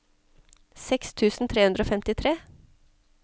seks tusen tre hundre og femtitre